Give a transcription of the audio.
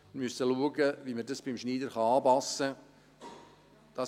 Wir müssen schauen, wie wir dies beim Schneider anpassen können.